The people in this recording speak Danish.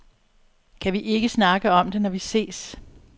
Kan vi ikke snakke om det, når vi ses?